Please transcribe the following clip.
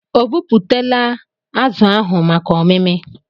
Obupụtala azụ ahụ maka ọmimi?